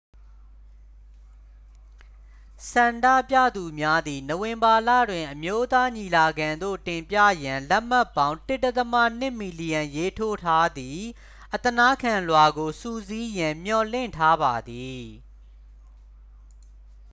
ဆန္ဒပြသူများသည် နိုဝင်ဘာလတွင် အမျိုးသားညီလာခံသို့ တင်ပြရန်လက်မှတ်ပေါင်း 1.2 မီလီယံရေးထိုးထားသည့် အသနားခံလွှာကို စုစည်းရန် မျှော်လင့်ထားပါသည်